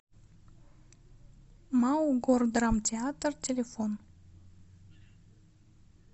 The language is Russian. мау гордрамтеатр телефон